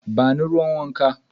Ba ni ruwan wanka.